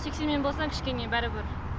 сексенмен болсаң кішкене бәрібір